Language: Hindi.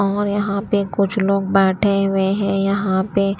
और यहाँ पे कुछ लोग बैठे हुए हैं यहाँ पे--